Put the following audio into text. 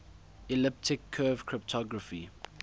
elliptic curve cryptography